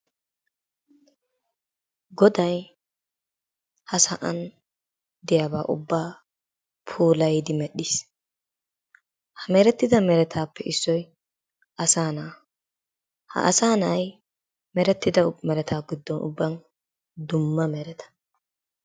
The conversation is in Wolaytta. Goday ha sa'an diyaba ubaa puulayidi medhiis. Ha meretidda meretaappe issoy asaa na'aa, asaa na'ay meretida meretaa ubbaa giddon dumma meretta.